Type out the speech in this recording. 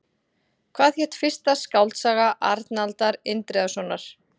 Hvað hét fyrsta skáldsaga Arnaldar Indriðasonar?